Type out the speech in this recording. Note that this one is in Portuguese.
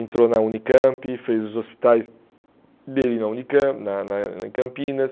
Entrou na Unicamp, fez os hospitais dele na Unicamp na na em Campinas.